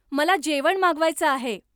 मला जेवण मागवायचं आहे.